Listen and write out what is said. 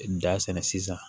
Da sɛnɛ sisan